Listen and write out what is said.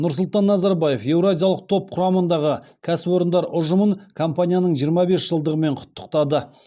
нұрсұлтан назарбаев еуразиялық топ құрамындағы кәсіпорындар ұжымын компанияның жиырма бес жылдығымен құттықтады